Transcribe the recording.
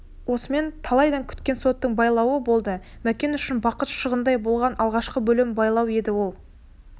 осымен талайдан күткен соттың байлауы болды мәкен үшін бақыт шағындай болған алғашқы бөлім байлау еді ол